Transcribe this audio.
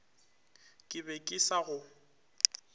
ke be ke sa go